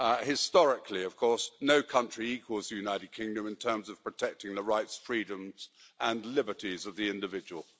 Historically, of course, no country equals the United Kingdom in terms of protecting the rights, freedoms and liberties of the individual.